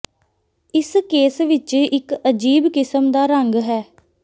ਇਸ ਕੇਸ ਵਿਚ ਇਕ ਅਜੀਬ ਕਿਸਮ ਦਾ ਰੰਗ ਹੈ